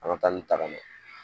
An ka taanin ta ka na